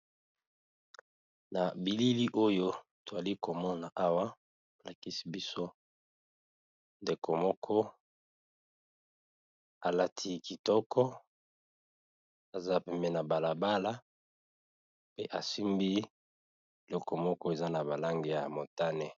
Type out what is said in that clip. Na bilili oyo twali komona awa lakisi biso ndeko moko alati kitoko aza peme na balabala pe asimbi eloko moko eza na balange ya motane.